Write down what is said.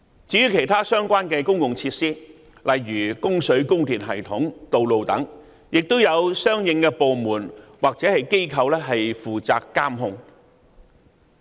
至於其他相關的公用設施，例如供水、供電系統和道路等，亦有相應的部門或機構負責監察。